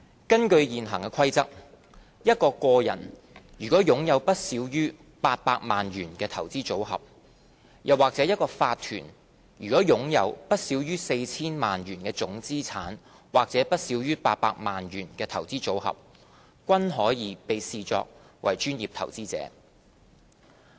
根據現行《規則》，一個個人如擁有不少於800萬元的投資組合，又或一個法團如擁有不少於 4,000 萬元的總資產，或不少於800萬元的投資組合，均可被視作專業投資者。